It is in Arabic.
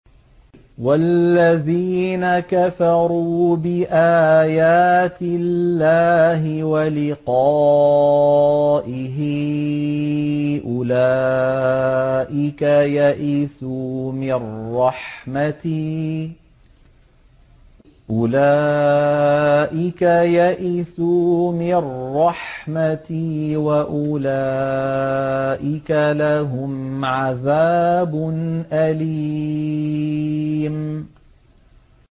وَالَّذِينَ كَفَرُوا بِآيَاتِ اللَّهِ وَلِقَائِهِ أُولَٰئِكَ يَئِسُوا مِن رَّحْمَتِي وَأُولَٰئِكَ لَهُمْ عَذَابٌ أَلِيمٌ